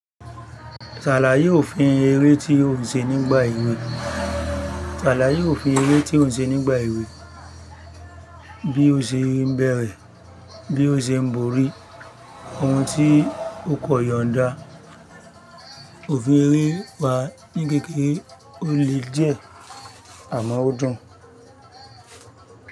Ṣàlaye òfin ere ti o se eré tí ó ń ṣe nígbà èwe, bí ó ṣe ń bẹ̀rẹ̀, bí ó ṣe ń borí, ohun tí ó kọ yọ̀n dá. Òfin ere wa ni kékeré o le díẹ̀ amò o dùn.